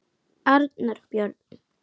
Arnar Björn.